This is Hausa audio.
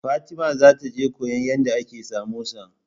Fatima za ta je koyan yadda ake samosa